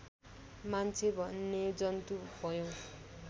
मान्छे भन्ने जन्तु भयौँ